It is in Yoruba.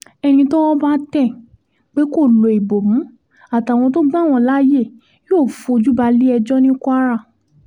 ẹni tọ́wọ́ bá tẹ̀ pé kó lo ìbomú àtàwọn tó gbà wọ́n láàyè yóò fojú balẹ̀-ẹjọ́ ní kwara